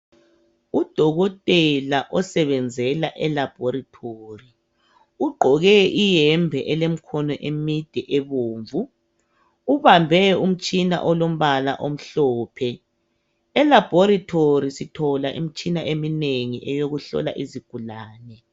Udokotela osebenzela elaboretory ugqoke ihembe elemikhono emide ebomvu ubambe umtshina olombala omhlophe elaboretory sithola imtshina emnengi eyokuhlola izigulane.